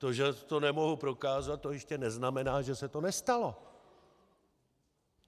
To, že to nemohu prokázat, to ještě neznamená, že se to nestalo.